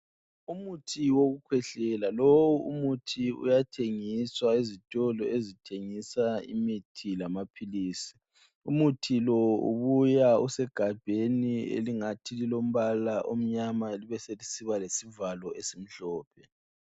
Umuthi wokukhwehlela lowu muthi uyathengiswa ezitolo ezithengisa imithi lamaphilisi. Umuthi lowu ubuya usegabheni elingathi lilombala omnyama libe selisiba lesivalo esimhlophe